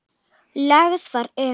Lögð var um